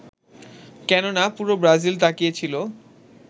কেননা পুরো ব্রাজিল তাকিয়েছিল